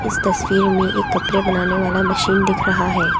तस्वीर में एक कपड़े बनाने वाला मशीन दिख रहा है।